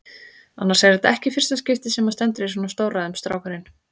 Annars er þetta ekki í fyrsta skipti sem hann stendur í svona stórræðum, strákurinn.